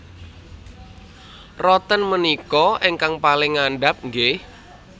Roten menika ingkang paling ngandhap nggih?